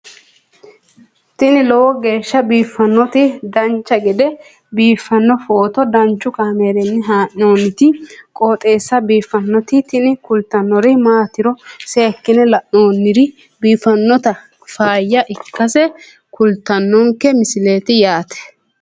tini lowo geeshsha biiffannoti dancha gede biiffanno footo danchu kaameerinni haa'noonniti qooxeessa biiffannoti tini kultannori maatiro seekkine la'niro biiffannota faayya ikkase kultannoke misileeti yaate